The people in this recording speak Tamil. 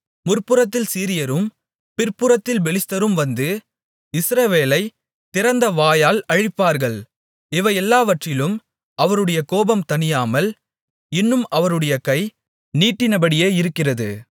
முற்புறத்தில் சீரியரும் பிற்புறத்தில் பெலிஸ்தரும் வந்து இஸ்ரவேலைத் திறந்தவாயால் அழிப்பார்கள் இவையெல்லாவற்றிலும் அவருடைய கோபம் தணியாமல் இன்னும் அவருடைய கை நீட்டினபடியே இருக்கிறது